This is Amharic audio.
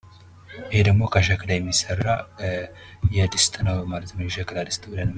ይህ ምስል የሚያሳየው ከሸክላ የሚሰራ የሸክላ ድስት ምስል ነው።